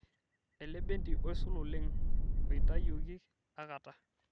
elebendi oisul oleng' oitayioki akata